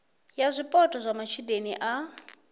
ya zwipotso zwa matshudeni a